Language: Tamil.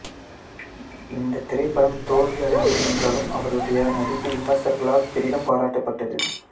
இந்தத் திரைப்படம் தோல்வியடைந்தது என்றாலும் அவருடைய நடிப்பு விமர்சகர்களால் பெரிதும் பாராட்டப்பட்டது